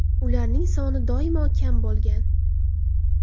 Ularning soni doimo kam bo‘lgan.